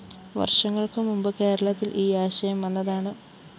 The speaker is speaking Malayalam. വര്‍ഷങ്ങള്‍ക്ക്‌ മുമ്പ്‌ കേരളത്തില്‍ ഈ ആശയം വന്നതാണ്‌